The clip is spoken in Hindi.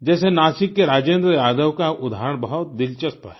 जैसे नासिक के राजेन्द्र यादव का उदाहरण बहुत दिलचस्प है